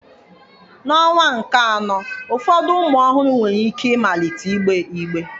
N'ọnwa nke anọ, ụfọdụ ụmụ ọhụrụ nwere ike ịmalite ịgbe igbe.